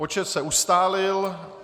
Počet se ustálil.